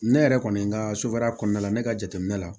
Ne yɛrɛ kɔni ka sofara kɔnɔna la ne ka jateminɛ la